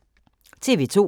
TV 2